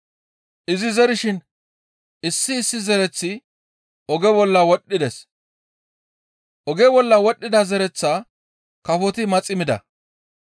Izi zerishin issi issi zereththi oge bolla wodhdhides. Oge bolla wodhdhida zereththaa kafoti maxi mida.